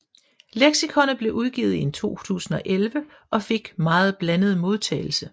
Leksikonet blev udgivet i 2011 og fik en meget blandet modtagelse